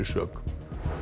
sök